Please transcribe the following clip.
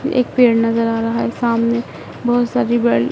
एक पेड़ नज़र आ रहा है सामने बहोत सारी--